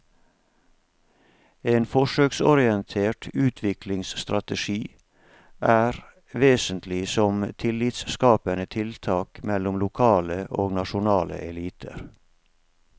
En forsøksorientert utviklingsstrategi er vesentlig som tillitsskapende tiltak mellom lokale og nasjonale eliter.